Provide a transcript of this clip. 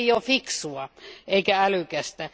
Se ei ole fiksua eikä älykästä.